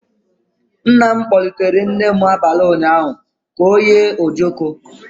Nna m kpọlitere nne m abalị ụnyaahụ ka ọ yere ojoko.